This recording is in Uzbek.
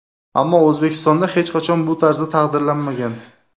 Ammo O‘zbekistonda hech qachon bu tarzda taqdirlanmagan.